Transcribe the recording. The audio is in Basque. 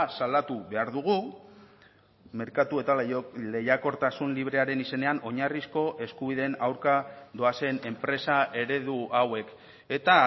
salatu behar dugu merkatu eta lehiakortasun librearen izenean oinarrizko eskubideen aurka doazen enpresa eredu hauek eta